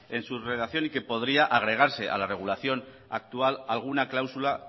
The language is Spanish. en su redacción y que podría agregarse a la regulación actual alguna cláusula